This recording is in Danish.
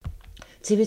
TV 2